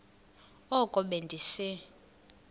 oko be ndise